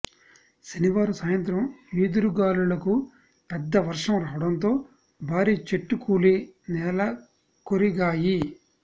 శనివారం సాయంత్రం ఈదురు గాలులకు పెద్ద వర్షం రావడంతో భారీ చెట్టు కూలి నెలకొరిగాయి